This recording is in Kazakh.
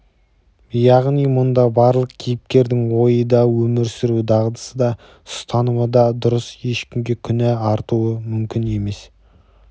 яғни мұнда барлық кейіпкердің ойы да өмір сүру дағдысы да ұстанымы да дұрыс ешкімге күнә арту мүмкін емес